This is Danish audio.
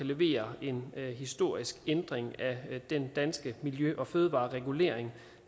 levere en historisk ændring af den danske miljø og fødevareregulering